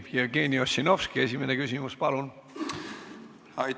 Jevgeni Ossinovski, esimene küsimus, palun!